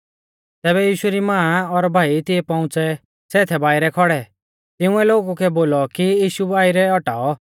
तैबै यीशु री मां और भाई तिऐ पौउंच़ै सै थै बाइरै खौड़ै तिंउऐ लोगु कै बोलौ कि यीशु बाइरै औटाऔ